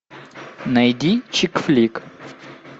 найди чик флик